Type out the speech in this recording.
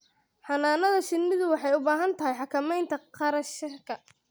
Xannaanada shinnidu waxay u baahan tahay xakamaynta kharashka.